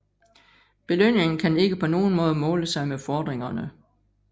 Belønningen kan ikke på nogen måde måle sig med fordringerne